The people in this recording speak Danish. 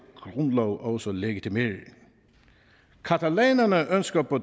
grundlov også legitimerer catalanerne ønsker på